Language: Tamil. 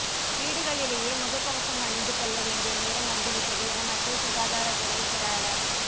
வீடுகளிலேயே முகக்கவசம் அணிந்துகொள்ள வேண்டிய நேரம் வந்துவிட்டது என மத்திய சுகாதாரத்துறை செயலாளர்